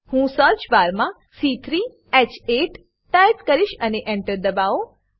હું સર્ચબાર મા c3હ8 ટાઈપ કરીશ અને Enter ડબાઓ